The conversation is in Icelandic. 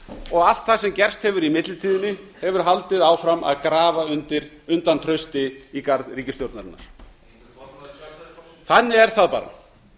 og allt það sem gerst hefur í millitíðinni hefur haldið áfram að grafa undan trausti í garð ríkisstjórnarinnar er formaður sjálfstæðisflokksins þannig er það bara